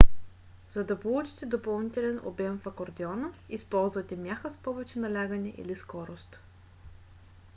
за да получите допълнителен обем в акордеона използвате мяха с повече налягане или скорост